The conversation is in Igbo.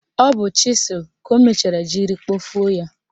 Ọ bụ chịsụl ka o mechara jiri kpọfuo ya.